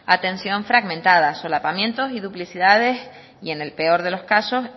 atención fragmentada solapamiento y duplicidades y en el peor de los casos